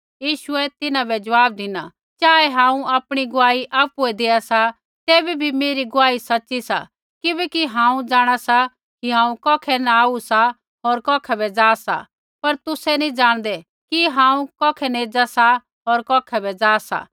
यीशुऐ तिन्हां बै ज़वाब धिना चाऐ हांऊँ आपणी गुआही आपुऐ देआ सा तैबै भी मेरी गुआही सच़ी सा किबैकि हांऊँ जाँणा सा कि हांऊँ कौखै न आऊ सा होर कौखै बै जा सा पर तुसै नी जाणदै कि हांऊँ कौखै न एज़ा सा होर कौखै बै जा सा